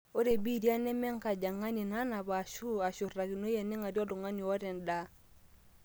ore biitai neme enkajang'ani nanap aashu eshurtakinoi ening'arie oltung'ani oota endaa